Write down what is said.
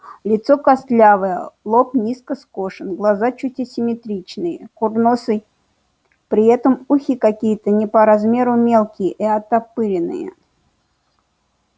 лицо костлявое лоб низко скошен глаза чуть асимметричные курносый при этом ухи какие-то не по размеру мелкие и оттопыренные